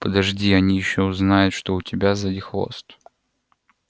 подожди они ещё узнают что у тебя сзади хвост